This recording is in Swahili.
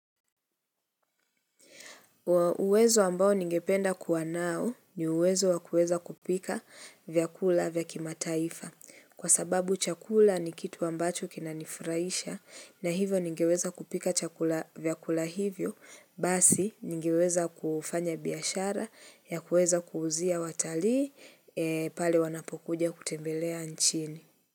Uwezo ambao ningependa kuwa nao ni uwezo wakueza kupika vyakula vyakimataifa kwa sababu chakula ni kitu ambacho kinanifurahisha na hivyo ningeweza kupika chakula vyakula hivyo basi ningeweza kufanya biashara ya kueza kuuzia watalii pale wanapokuja kutembelea nchini.